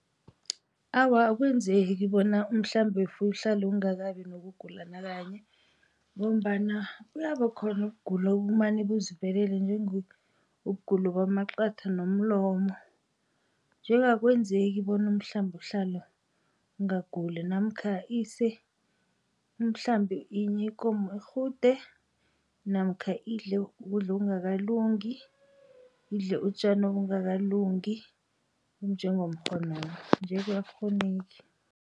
Awa, akwenzeki bona umhlambi wefuyo uhlale ungakabi nokugula nakanye, ngombana kuyaba khona ukugula okumane kuzivelela njengokugula kwamaqatha nomlomo, nje-ke akwenzeki bona umhlambi uhlale ungaguli namkha ikomo irhude namkha idle ukudla okungakalungi, idle utjani obungakalungi nje-ke akukghoneki.